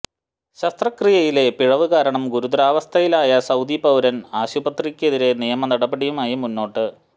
ശസ്ത്രക്രിയയിലെ പിഴവ് കാരണം ഗുരുതരാവസ്ഥയിലായ സൌദി പൌരന് ആശുപത്രിക്കെതിരെ നിയമനടപടിയുമായി മുന്നോട്ട്